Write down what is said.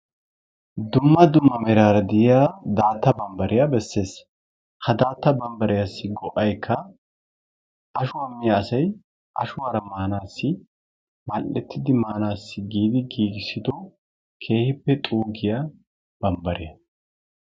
Dumma dumma meraara de'iyaa daatta barbbariyaa bessees. ha daatta barbbariyasi go"aykka ashuwaa miyaa asay ashuwaara maanaasi mal"ettidi maanasi giidi gigisido keehippe xuugiyaa bambbare.